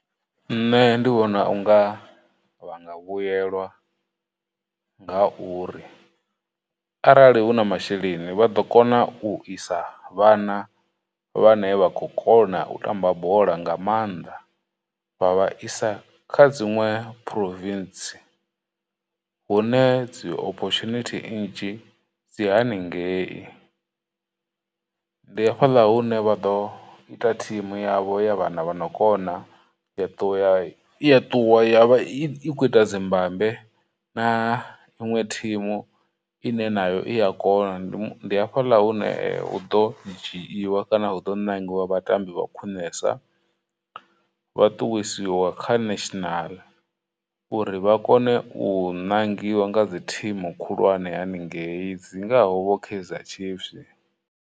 Nṋe ndi vhona unga vha nga vhuyelwa ngauri arali huna masheleni, vha ḓo kona u isa vhana vhane vha khou kona u tamba bola nga maanḓa, vha vha isa kha dziṅwe province hune dzi opportunity nnzhi dzi haningei, ndi hafhaḽa hune vha ḓo ita thimu yavho ya vhana vha no kona, ya ṱuwa ya, ya ṱuwa ya vha i i khou ita dzi mbambe na iṅwe thimu ine nayo i ya kona, ndi hafhaḽa hune hu ḓo dzhiwa kana hu ḓo ṋangiwa vhatambi vha khwiṋesa, vhaṱuwisiwa kha national uri vha kone u ṋangiwa nga dzi thimu khulwane haningei dzingaho vho Kaizer Chiefs.